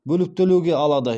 бөліп төлеуге алады